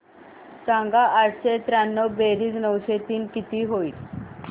सांग आठशे त्र्याण्णव बेरीज नऊशे तीन किती होईल